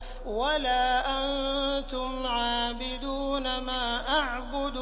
وَلَا أَنتُمْ عَابِدُونَ مَا أَعْبُدُ